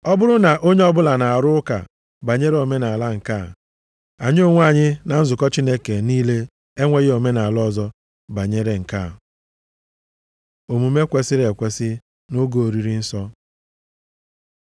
Ọ bụrụ na onye ọbụla na-arụ ụka banyere omenaala nke a, anyị onwe anyị na nzukọ Chineke niile enweghị omenaala ọzọ banyere nke a. Omume kwesiri ekwesi nʼoge Oriri Nsọ